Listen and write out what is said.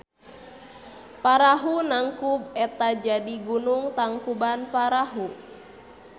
Parahu nangkub eta jadi gunung Tangkubanparahu.